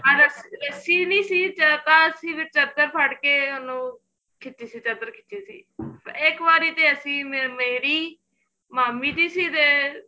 ਹਾਂ ਰਸੀ ਨੀਂ ਸੀ ਚਦਰ ਫੜ ਕੇ ਉਹਨੂੰ ਖਿਚੀ ਸੀ ਚਦਰ ਖਿਚੀ ਸੀ ਇੱਕ ਵਾਰੀ ਤੇ ਅਸੀਂ ਮੇਰੀ ਮਾਮੀ ਜੀ ਸੀ ਤੇ